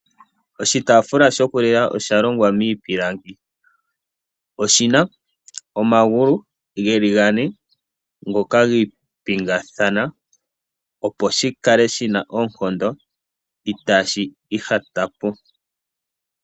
Oshitaafula shoku lila osha longwa miipilangi. Oshina omagulu geli gane ngoka giipingathana opo shi kale shina oonkondo itaashi ihatapo.